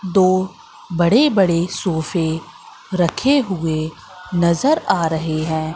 दो बड़े बड़े सोफे रखे हुए नजर आ रहे हैं।